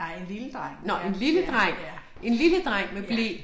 Nej en lille dreng, ja, ja, ja. Ja